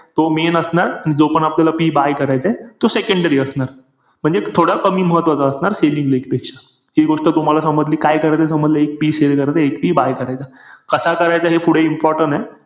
अ पहिल्या IPL चे sponsor HP आणि विगो होते त आता ह्या वर्षी टाटा आहे